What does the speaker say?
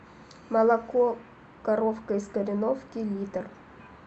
молоко коровка из кореновки литр